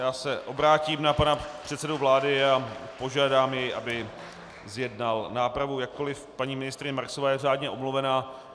Já se obrátím na pana předsedu vlády a požádám jej, aby zjednal nápravu, jakkoliv paní ministryně Marksová je řádně omluvena.